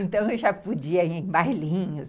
Então, eu já podia ir em bailinhos.